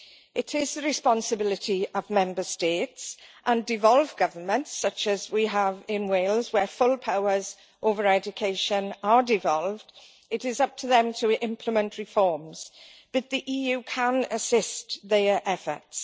It is the responsibility of Member States and devolved governments such as we have in Wales, where full powers over education are devolved to implement reforms, but the EU can assist their efforts.